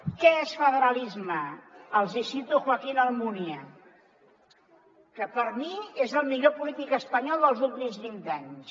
què és federalisme els hi cito joaquín almunia que per mi és el millor polític espanyol dels últims vint anys